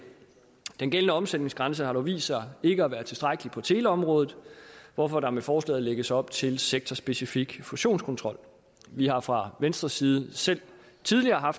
den gældende omsætningsgrænse har dog vist sig ikke at være tilstrækkelig på teleområdet hvorfor der med forslaget lægges op til sektorspecifik fusionskontrol vi har fra venstres side selv tidligere